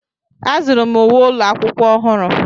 Azụrụ m uwe ụlọ akwụkwọ ọhụrụ.